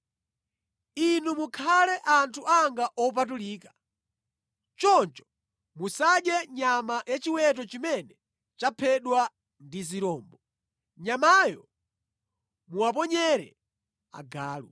“Inu mukhale anthu anga opatulika. Choncho musadye nyama ya chiweto chimene chaphedwa ndi zirombo. Nyamayo muwaponyere agalu.”